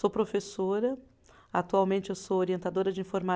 Sou professora, atualmente eu sou orientadora de informa